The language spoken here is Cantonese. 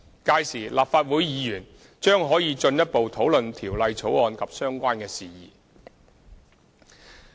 屆時，立法會議員將可以進一步討論條例草案及相關事宜。